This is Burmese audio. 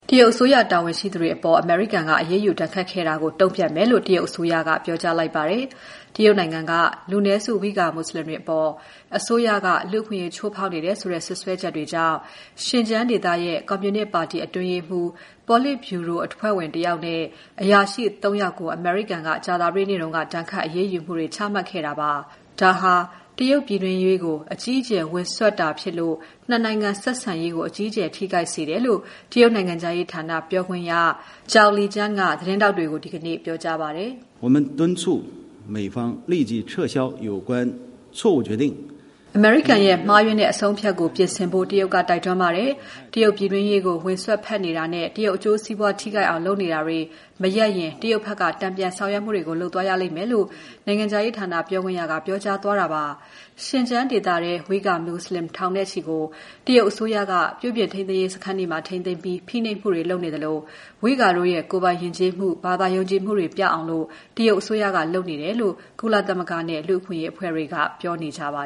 တရုတ်အစိုးရ တာဝန်ရှိသူတွေအပေါ် အမေရိကန်က အရေးယူ ဒဏ်ခတ်ခဲ့တာကို တုံ့ပြန်မယ်လို့ တရုတ်အစိုးရက ပြောကြားလိုက်ပါတယ်။ တရုတ်နိုင်ငံက လူနည်းစု ဝိဂါမွတ်ဆလင်တွေအပေါ် အစိုးရက လူ့အခွင့်အရေး ချိုးဖောက်နေတယ်ဆိုတဲ့ စွပ်စွဲချက်တွေကြောင့် ရှင်ကျန်းဒေသရဲ့ ကွန်မြူနစ်ပါတီအတွင်းရေးမှူး ပေါလစ်ဗြူရိုအဖွဲ့ဝင်တယောက်နဲ့ အရာရှိ သုံး ယောက်ကို အမေရိကန်က ကြာသပတေးနေ့က ဒဏ်ခတ်အရေးယူမှုတွေ ချမှတ်ခဲ့ပါတယ်။ ဒါဟာ တရုတ်ပြည်တွင်းရေးကို အကြီးအကျယ် ဝင်စွက်တာဖြစ်လို့ နှစ် နိုင်ငံဆက်ဆံရေးကို အကြီးအကျယ် ထိခိုက်စေတယ်လို့ နိုင်ငံခြားရေးဌာန ပြောခွင့်ရ Zhao Lijian က သတင်းထောက်တွေကို ဒီကနေ့ ပြောကြားပါတယ်။ "အမေရိကန်ရဲ့ မှားယွင်းတဲ့အဆုံးအဖြတ်ကို ပြင်ဆင်ဖို့ တရုတ်က တိုက်တွန်းပါတယ်။ တရုတ်ပြည်တွင်းရေးကို ဝင်စွက်ဖက်နေတာနဲ့ တရုတ်အကျိုးစီးပွား ထိခိုက်အောင်လုပ်နေတာတွေ မရပ်ရင် တရုတ်ဘက်က တန်ပြန်ဆောင်ရွက်မှုတွေ လုပ်သွားရလိမ့်မယ်။" လို့ နိုင်ငံခြားရေးဌာန ပြောခွင့်ရကပြောပါတယ်။ ရှင်ကျန်းဒေသထဲက ဝိဂါမွတ်ဆလင်ထောင်နဲ့ချီကို တရုတ်အစိုးရက ပြုပြင်ရေးစခန်းတွေမှာ ထိန်းသိမ်းပြီး ဖိနှိပ်မှုတွေလုပ်နေသလို ဝိဂါတို့ရဲ့ ကိုယ်ပိုင်ယဉ်ကျေးမှု ဘာသာရေးယုံကြည်မှုတွေ ပျောက်အောင် တရုတ်အစိုးရက လုပ်နေတယ်လို့ ကုလသမဂ္ဂနဲ့ လူ့အခွင့်အရေးအဖွဲ့တွေက ပြောနေကြပါ